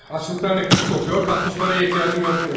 Aclıqdan nəfəsi qoxuyur, qalxıb pula ehtiyacım yoxdur deyir.